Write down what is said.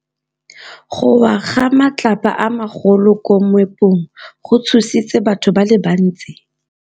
Go wa ga matlapa a magolo ko moepong go tshositse batho ba le bantsi.